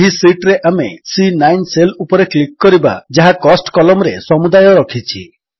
ଏହି ଶୀଟ୍ ରେ ଆମେ ସି9 ସେଲ୍ ଉପରେ କ୍ଲିକ୍ କରିବା ଯାହା କୋଷ୍ଟ କଲମ୍ ରେ ସମୁଦାୟ ରଖିଛି